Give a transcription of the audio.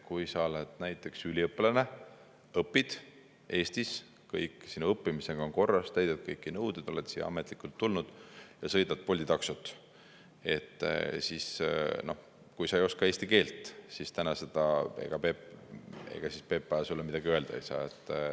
Kui sa oled näiteks üliõpilane, õpid Eestis, sinu õppimisega on kõik korras, täidad kõiki nõudeid, oled siia ametlikult tulnud ja sõidad Bolti taksot, siis kui sa ei oska eesti keelt, siis ega PPA sulle midagi öelda ei saa.